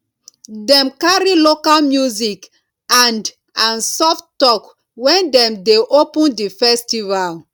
dem carry local music and and soft talk wen dem dey open di festival